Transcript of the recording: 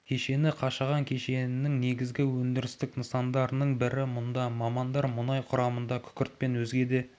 кешені қашаған кенішінің негізгі өндірістік нысандарының бірі мұнда мамандар мұнай құрамындағы күкірт пен өзге де